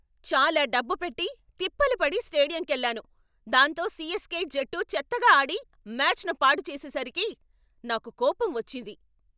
చాలా డబ్బు పెట్టి, తిప్పలు పడి స్టేడియంకెళ్ళాను, దాంతో సిఎస్కె జట్టు చెత్తగా ఆడి మ్యాచ్ను పాడుచేసేసరికి నాకు కోపం వచ్చింది.